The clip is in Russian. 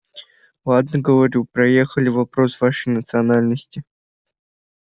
ладно говорю проехали вопрос вашей национальности